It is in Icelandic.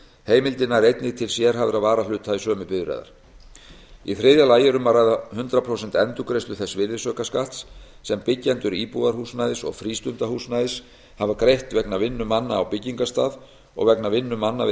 heimildin nær einnig til sérhæfðra varahluta í sömu bíla í þriðja lagi er um að ræða hundrað prósent endurgreiðslu þess virðisaukaskatts sem byggjendur íbúðarhúsnæðis og frístundahúsnæðis hafa greitt vegna vinnu manna á byggingarstað og vegna vinnu manna við